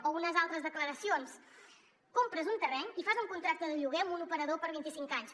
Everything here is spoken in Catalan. o unes altres declaracions compres un terreny i hi fas un contracte de lloguer a un operador per vint i cinc anys